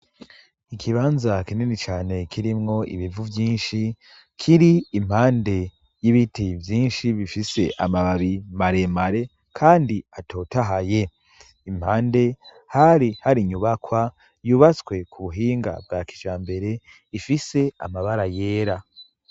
Ikibanza kinini cane kirimwo ibivu vyinshi kiri impande y'ibiti vyinshi bifise amababi maremare kandi atotahaye. Impande hari hari inyubakwa yubatswe ku buhinga bwa kijambere ifise amabara yera.